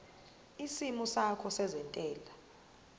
isimo sakho sezentela